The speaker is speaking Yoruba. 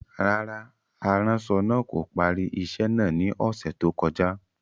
Rárá, aranṣọ naa ko pari iṣẹ naa ni ọsẹ to koja.